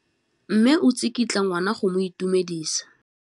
Mme o tsikitla ngwana go mo itumedisa.